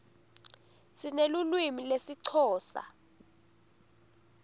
sinelulwimi lesixhosa